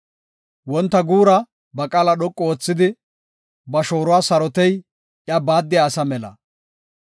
Wonta guura ba qaala dhoqu oothidi, ba shooruwa sarotey iya baaddiya asa mela.